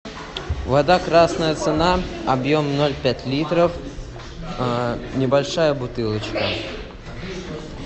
вода красная цена объем ноль пять литров небольшая бутылочка